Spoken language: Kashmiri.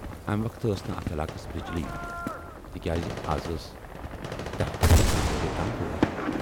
امہِ وقتہٕ ٲس نہٕ اتھ علاقس بجلی تِکیازِ از ٲس دٔہہِ پٮ۪ٹھٕ کاہ بجے تام وٲرۍ۔